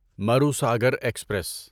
Marusagar express